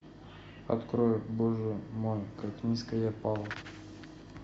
открой боже мой как низко я пал